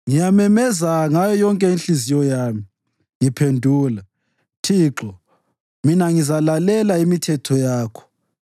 Ngiyamemeza ngayo yonke inhliziyo yami; ngiphendula, Thixo, mina ngizalalela imithetho yakho.